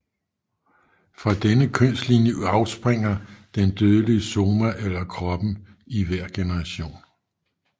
Fra denne kønslinje afspringer den dødelige soma eller kroppen i hver generation